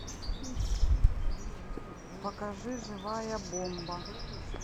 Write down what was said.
покажи живая бомба